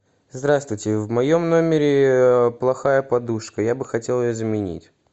здравствуйте в моем номере плохая подушка я бы хотел ее заменить